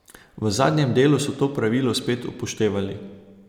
V zadnjem delu so to pravilo spet upoštevali.